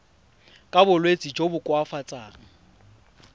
ka bolwetsi jo bo koafatsang